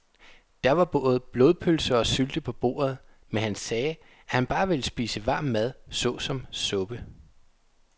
Der var både blodpølse og sylte på bordet, men han sagde, at han bare ville spise varm mad såsom suppe.